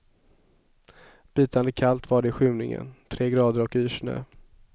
Bitande kallt var det i skymningen, tre grader och yrsnö.